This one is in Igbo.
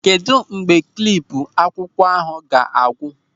Kedụ mgbe klipu akwụkwọ ahụ ga-agwụ?